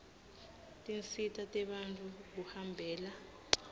tinsita tebantfu kuhambela